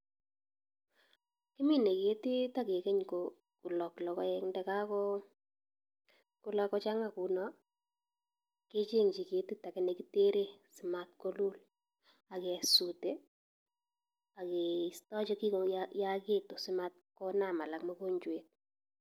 Kimine ketit agegeny ko kolok logoek. Ndagego kulok kochang'a kuno, kecheng'chi ketit age nekitere simat kolul age sute ageisto chekigo yagitu simat konam alak mugonjwet.